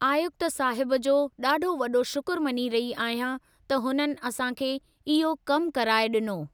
आयुक्त साहब जो ॾाढो वॾो शुक्र मञी रही आहियां त हुननि असां खे इहो कमु कराए ॾिनो।